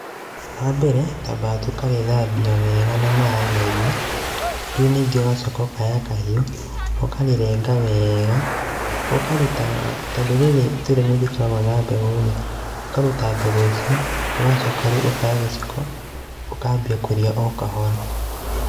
Wa mbere, twambaga tũkarĩthambia wega na maĩ maingĩ, rĩu ningĩ ũgacoka ũkoya kahiũ, ũkarĩrenga wega, ũkaruta, tondũ rĩrĩ ritũ nĩ rĩkoragwo na mbegũ-rĩ, ũkaruta mbegũ icio, ũgacoka rĩu ũkoya gĩciko ũkambia kũrĩa o kahora.